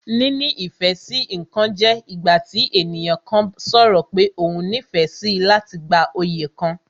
Níní ìfẹ́ sí ǹkan jẹ́ ìgbà tí ènìyàn kan sọ̀rọ̀ pé òhun nífẹ̀ẹ́ síi láti gba oyè kan